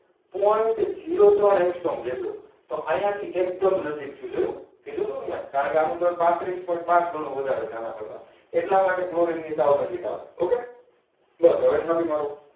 Point zero ત્રણ angstrong જેટલુ. તો અહીંયા થી એકદમ નજીક થયું જોયું કીધું તું મેં કારણ કે એનું દળ પાંત્રીશ point પાંચ ગણું વધારે છે આના કરતા એટલા માટે ક્લોરીન ની સાવ નજીક આવે okay